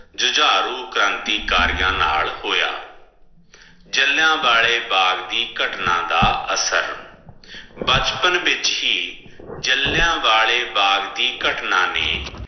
ਜੁਝਾਰੂ ਕ੍ਰਾਂਤੀਕਾਰੀਆਂ ਨਾਲ ਹੋਯਾ ਜਲਯਾ ਵਾਲੇ ਬਾਗ ਦੀ ਘਟਨਾ ਦਾ ਅਸਰ ਬਚਪਨ ਵਿਚ ਹੀ ਜਲਯਾਂ ਵਾਲੀ ਬਾਘ ਦੀ ਘਟਨਾ ਨੇ